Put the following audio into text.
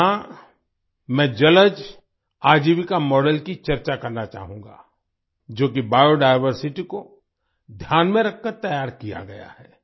यहाँ मैं जलज आजीविका मॉडल की चर्चा करना चाहूंगा जो कि बायोडायवर्सिटी को ध्यान में रख कर तैयार किया गया है